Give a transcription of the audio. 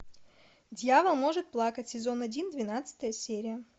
дьявол может плакать сезон один двенадцатая серия